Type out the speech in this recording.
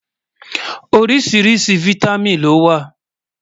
oríṣiríṣi fìtámín ló wà